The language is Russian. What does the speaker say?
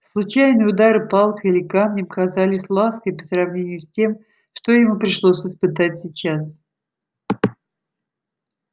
случайные удары палкой или камнем казались лаской по сравнению с тем что ему пришлось испытать сейчас